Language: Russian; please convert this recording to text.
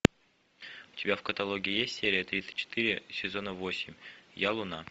у тебя в каталоге есть серия тридцать четыре сезона восемь я луна